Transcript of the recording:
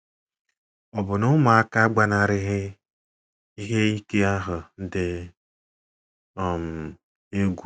Ọbụna ụmụaka agbanarịghị ihe ike ahụ dị um egwu.